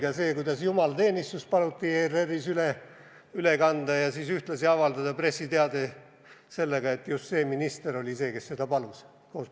Ka see, kuidas jumalateenistust paluti ERR-is üle kanda ja siis ühtlasi avaldada pressiteade koos pildiga, et just see minister oli see, kes seda palus.